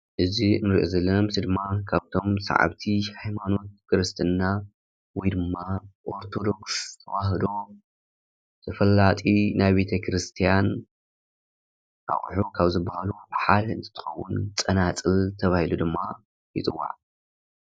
እዚ ንርኦ ዘለና ምስል ድማ ካፍቶም ሰዓብቲ ሃይማኖት ክርስትና ወይ ድማ ኣርደቶክስ ተዋህዶ ተፈላጢ ናይ ቤተ ክርስትያን ኣቁሑ ካብ ዝባሃሉ ሓደ እንትትኸውን ፀናፅል ተባሂሉ ድማ ይፅዋዕ።